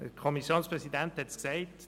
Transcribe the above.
Der Kommissionspräsident hat es gesagt: